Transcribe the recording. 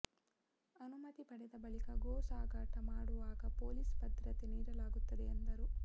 ಅನುಮತಿ ಪಡೆದ ಬಳಿಕ ಗೋ ಸಾಗಾಟ ಮಾಡುವಾಗ ಪೊಲೀಸ್ ಭದ್ರತೆ ನೀಡಲಾಗುತ್ತದೆ ಎಂದರು